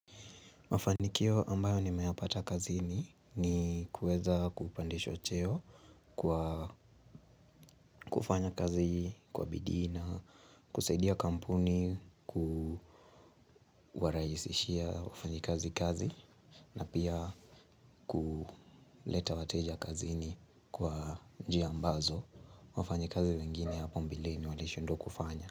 Mafanikio ambayo nimeyapata kazini ni kueza kupandishwa cheo kwa kufanya kazi kwa bidii na, kusaidia kampuni, kuwaraisishia wafanyikazi kazi na pia kuleta wateja kazini kwa njia ambazo wafanyikazi wengine hapa mbeleni walishindwa kufanya.